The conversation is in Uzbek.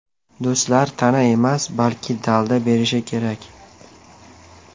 Do‘stlar ta’na emas, balki dalda berishi kerak.